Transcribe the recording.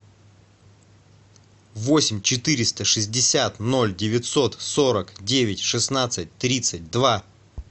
восемь четыреста шестьдесят ноль девятьсот сорок девять шестнадцать тридцать два